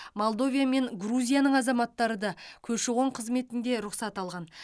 молдовия мен грузияның азаматтары да көші қон қызметінде рұқсат алған